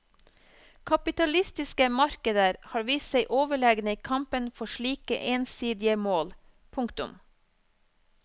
Kapitalistiske markeder har vist seg overlegne i kampen for slike ensidige mål. punktum